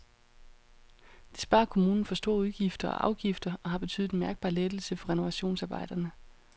Det sparer kommunen for store udgifter og afgifter og har betydet en mærkbar lettelse for renovationsarbejderne.